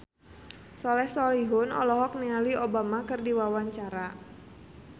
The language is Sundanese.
Soleh Solihun olohok ningali Obama keur diwawancara